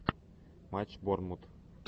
матч борнмут